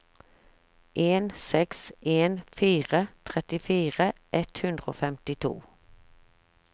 en seks en fire trettifire ett hundre og femtito